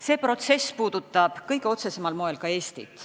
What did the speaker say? See protsess puudutab kõige otsesemal moel ka Eestit.